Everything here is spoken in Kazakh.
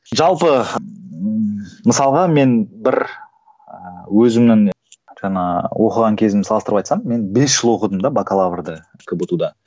жалпы мысалға мен бір ыыы өзімнің жаңа оқыған кезімді салыстырып айтсам мен бес жыл оқыдым да бакалаврды кбту да